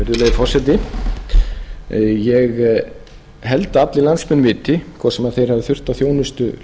forseti ég held að allir landsmenn viti hvort sem þeir hafa þurft á þjónustu